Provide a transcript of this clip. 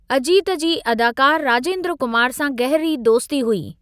अजीत जी अदाकारु राजेंद्र कुमार सां गहरी दोस्ती हुई।